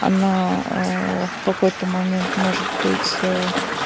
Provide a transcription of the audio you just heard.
она в какой-то момент может быть